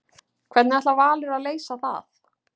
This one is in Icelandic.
Hvernig ætlar Valur að leysa það?